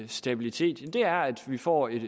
stabilitet er at vi får et